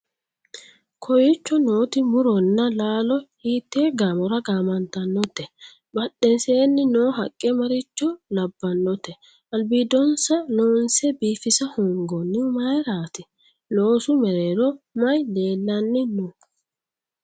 kowiicho nooti muronna laalo hiitee gaamora gaamantannote? badheseenni noo haqqe maricho labbannote? albiidonsa loonse biifisa hoongoonnihu mayeeratti? loosu mereero maye leellanni no?